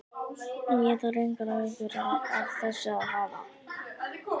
En ég þarf engar áhyggjur af þessu að hafa.